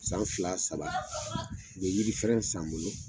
San fila saba u yiri fɛrɛn san n bolo